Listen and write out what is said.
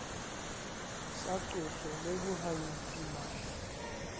sa qoso le bohanyetsi mahla